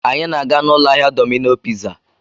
Anyị na-aga n'ụlọ ahịa Dọmino piza.